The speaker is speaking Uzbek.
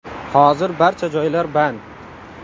Hozir barcha joylar band.